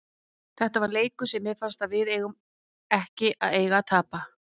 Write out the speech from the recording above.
Þetta var leikur sem mér fannst við ekki eiga að tapa.